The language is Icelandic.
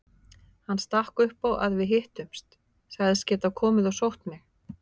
Hann stakk upp á að við hittumst, sagðist geta komið og sótt mig.